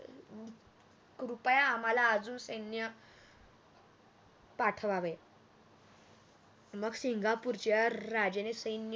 कृपया आम्हाला अजून सैन्य पाठवावे मग सिंगापूरच्या राजाने सैन्य